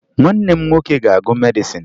Nwanne m nwoke ga-agụ medịsịn